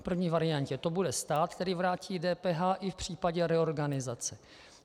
V první variantě to bude stát, který vrátí DPH i v případě reorganizace.